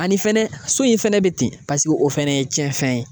Ani fɛnɛ so in fɛnɛ bɛ ten paseke o fɛnɛ ye cɛn fɛn ye.